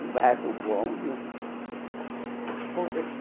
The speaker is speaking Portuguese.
Um bairro bom, viu?